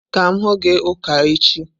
Ka m hụ gi ụka echi!